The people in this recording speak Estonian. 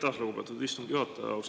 Aitäh, lugupeetud istungi juhataja!